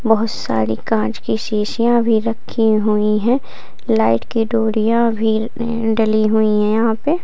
बोहोत सारी कांच की शीशियाँ भी रखी हुई हैं लाइट की डोरियां भी इ डली हुई हैं यहां पे।